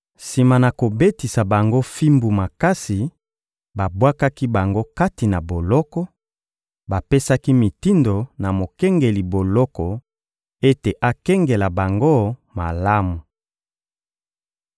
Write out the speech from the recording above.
Sima na kobetisa bango fimbu makasi, babwakaki bango kati na boloko; bapesaki mitindo na mokengeli boloko ete akengela bango malamu.